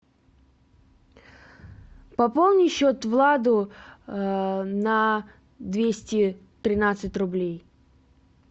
пополни счет владу на двести тринадцать рублей